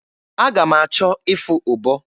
Aga m achọ ịfụ ụbọ.